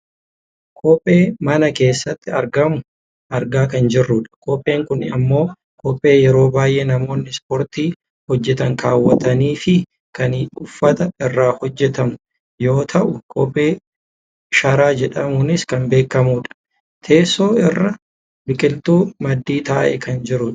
Kophee mama keessatti argamu argaa kan jirrudha. Kopheen kun ammoo kophee yeroo baayyee namoonni ispoortii hojjatan kaawwatanifi kan uffata irraa hojjatamu yoo ta'u kophee sharaa jedhamuunis kan beekkamudha. Teesoo irra boqiltuu Maddii taa'ee kan jirudha.